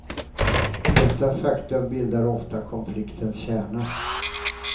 Detta faktum bildar ofta konfliktens kärna.